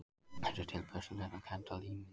Þessi tilbeiðslukennda líming